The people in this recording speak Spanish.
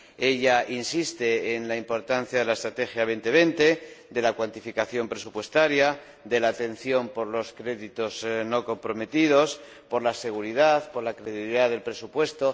Ella insiste en la importancia de la estrategia Europa 2020, de la cuantificación presupuestaria, de la atención por los créditos no comprometidos, por la seguridad, por la credibilidad del presupuesto.